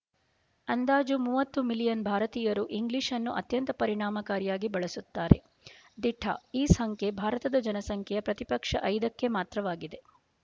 ಅಂದಾಜು ಮೂವತ್ತು ಮಿಲಿಯನ್ ಭಾರತೀಯರು ಇಂಗ್ಲಿಶ್‌ನ್ನು ಅತ್ಯಂತ ಪರಿಣಾಮಕಾರಿಯಾಗಿ ಬಳಸುತ್ತಾರೆ ದಿಟ ಈ ಸಂಖ್ಯೆ ಭಾರತದ ಜನಸಂಖ್ಯೆಯ ಪ್ರತಿಪಕ್ಷ ಐದಕ್ಕೆ ಮಾತ್ರವಾಗಿದೆ